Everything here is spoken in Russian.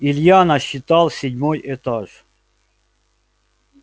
илья насчитал седьмой этаж